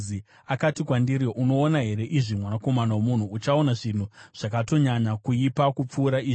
Akati kwandiri, “Unoona here izvi, mwanakomana womunhu? Uchaona zvinhu zvakatonyanya kuipa kupfuura izvi.”